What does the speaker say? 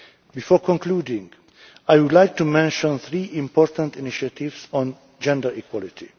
Before concluding, I would like to mention three important initiatives on gender equality.